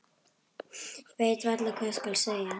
Ég veit varla hvað skal segja.